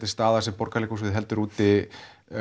er staða sem Borgarleikhúsið heldur úti